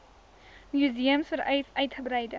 museums vereis uitgebreide